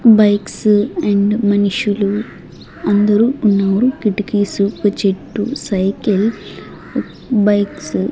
bikes and మనుషులు అందరూ ఉన్నారు కిటికిసు ఒక చెట్టు సైకిల్ బైక్స్ --